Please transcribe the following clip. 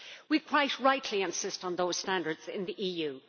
We quite rightly insist on those standards in the EU.